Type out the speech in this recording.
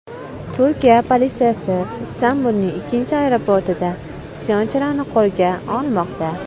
Turkiya politsiyasi Istanbulning ikkinchi aeroportida isyonchilarni qo‘lga olmoqda.